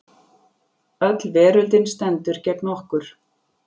Öll veröldin stendur gegn okkur.